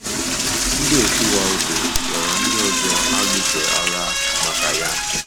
* Ndị òtù Waldo ghọrọ ndị ọzọ a lụsoro agha maka ya.